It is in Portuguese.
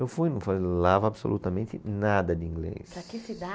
Eu fui, não falava absolutamente nada de inglês.